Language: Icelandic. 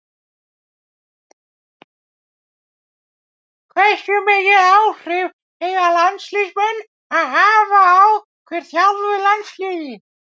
Hversu mikil áhrif eiga landsliðsmenn að hafa á hver þjálfi landsliðið?